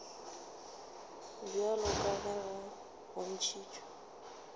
bjalo ka ge go bontšhitšwe